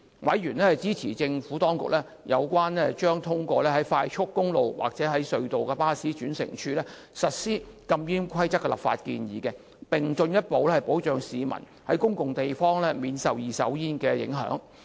委員支持政府當局有關將通往快速公路或隧道的巴士轉乘處實施禁煙規定的立法建議，以進一步保障市民在公共地方免受二手煙影響。